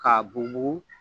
Ka bugubugu